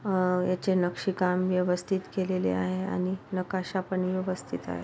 हा याचे नक्षी काम व्यवस्थित केलेले आहे आणि नकाशा पण व्यवस्थित आहे.